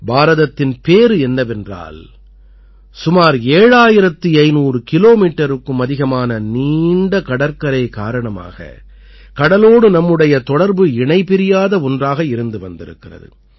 பாரதத்தின் பேறு என்னவென்றால் சுமார் 7500 கிலோமீட்டருக்கும் அதிகமான நீண்ட கடற்கரை காரணமாக கடலோடு நம்முடைய தொடர்பு இணைபிரியாத ஒன்றாக இருந்து வந்திருக்கிறது